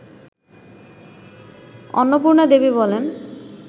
অন্নপূর্ণা দেবী বলেন